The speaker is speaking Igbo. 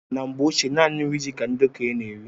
Na mgbe ochie naanị nri ji ka ndị okenye n'eri